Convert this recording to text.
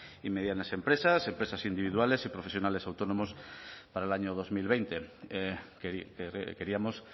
y medianas empresas empresas individuales y profesionales autónomos para el año dos mil veinte queríamos